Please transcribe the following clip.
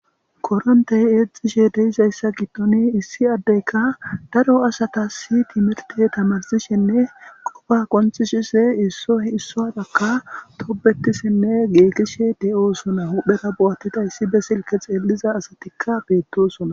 koronte eexxishe de7izayssa giddoni issi addeyka daro asatasi timerte tamarsishenne qofa qonccisishe issoy issuwaarakka tobetishenne geekishe de7osona huhdhera bo7attida izi be silke xeelliza asatikka beettosuna.